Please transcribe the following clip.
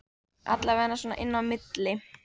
Allavega svona inni á milli